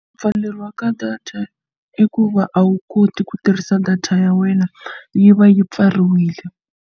Ku pfaleriwa ka data i ku va a wu koti ku tirhisa data ya wena yi va yi pfariwile.